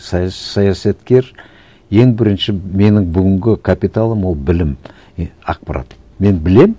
саясаткер ең бірінші менің бүгінгі капиталым ол білім и ақпарат мен білемін